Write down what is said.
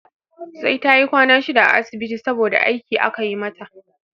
Sai tayi kwana shida a asibiti saboda aiki aka yi mata